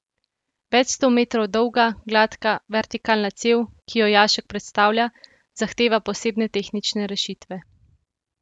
Več sto metrov dolga, gladka, vertikalna cev, ki jo jašek predstavlja, zahteva posebne tehnične rešitve.